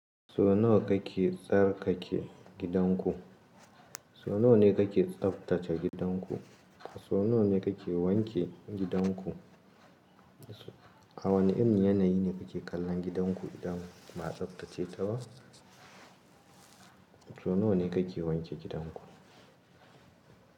So nawa kake tsarkake gidanku? So nawa ne kake tsaftace gidanku? So nawa ne kake wanke gidanku? A wane irin yanayi ne kake kallon gidanku idan ba a tsaftace ta ba? So nawa ne kake wanke gidanku?